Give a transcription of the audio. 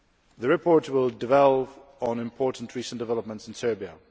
The report will dwell on important recent developments in Serbia.